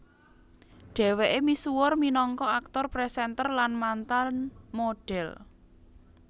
Dhweke misuwur minangka aktor presenter lan mantan modhel